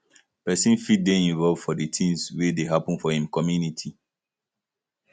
person fit dey involved for di things wey dey happen for im community